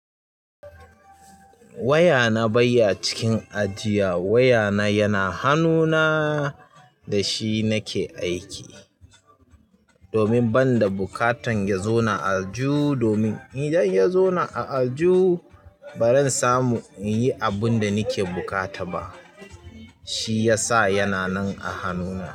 Waya na bai ya cikin ajiya. Waya na yana hanuna da shi na ke aiki domin ban da buƙatan ya zauna a aljuhu domin idan ya zauna a aljuhu baran samu inyi abunda nake buƙata ba. Shi ya sa yana nan a hannuna.